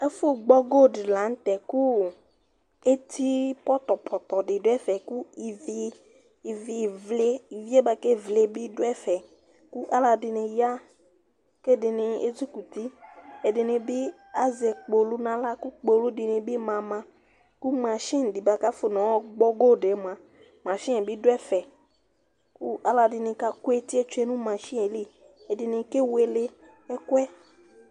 Ɛfu gbɔgo dila ŋtɛ ku éti potopoto di du ɛfɛ ku ivi bua ké évlé bi du ɛfɛ Ku alodini ya, ké ɛdin ezukuti Adini bi azɛ kpolu na aɣla ku kpolu dini bi mama ku machini ka afɔ na yɔ gbɔ gold mua machiniɛ bi du ɛfɛ Ku alɔdini ka ku étié tsué nu machini li Ɛdini kéwéle ɛkuɛ